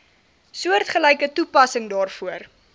soortgelyke toepassing daarvoor